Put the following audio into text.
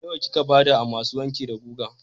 Nawa kika ba da a masu wanki da guga?